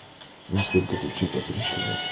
во сколько ты вчера пришла